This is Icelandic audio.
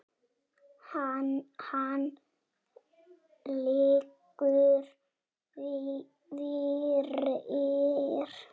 Hann liggur fyrir.